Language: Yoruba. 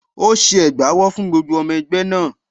Ó ṣe ẹ̀gbà owó fún gbogbo ọmọ ẹgbẹ́ náà.